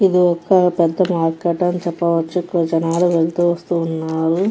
ఇది ఒక్క పెద్ద మార్కెట్ అని చెప్పవచ్చు ఇక్కడ జనాలు వస్తూ వెళ్తున్నారు.